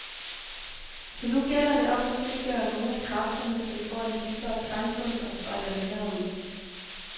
Så nu gælder det om at frigøre nogle af kræfterne, så det får en dybere klangbund og strækker længere ud.